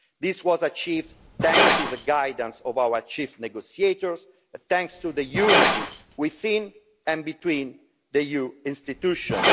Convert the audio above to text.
This was achieved thanks to the guidance of our lead negotiators and thanks to the unity within, and between, the EU institutions.